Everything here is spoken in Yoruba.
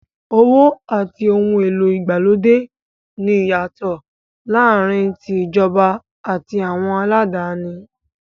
Owó àti ohun èlò ìgbàlódé ní ìyàtọ̀ láàárín tí ìjọba àti àwọn aládáni.